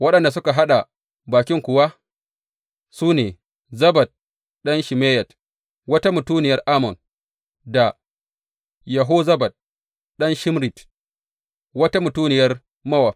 Waɗanda suka haɗa bakin kuwa su ne Zabad ɗan Shimeyat wata mutuniyar Ammon da Yehozabad ɗan Shimrit wata mutuniyar Mowab.